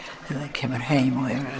kemur heim